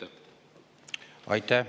Aitäh!